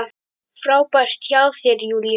Frábært hjá þér, Júlía!